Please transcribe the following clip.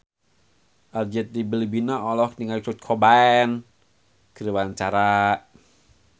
Arzetti Bilbina olohok ningali Kurt Cobain keur diwawancara